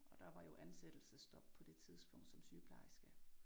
Og der var jo ansættelsesstop på det tidspunkt som sygeplejerske